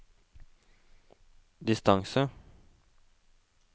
distance